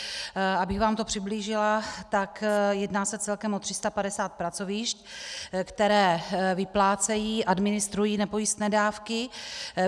Abych vám to přiblížila, tak jedná se celkem o 350 pracovišť, která vyplácejí, administrují nepojistné dávky.